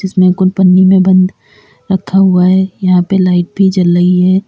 इसमें कुल पन्नी में बंद रखा हुआ है यहां पे लाइट भी जल रही है।